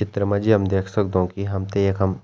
चित्र मा जी हम देख सगदौं कि हमतें यखम